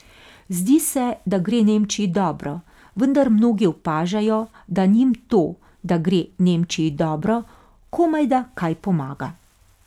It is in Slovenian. Zdi se, da gre Nemčiji dobro, vendar mnogi opažajo, da njim to, da gre Nemčiji dobro, komajda kaj pomaga.